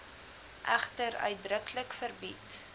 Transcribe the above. egter uitdruklik verbied